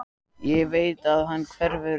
Ég veit að hann hverfur ekki.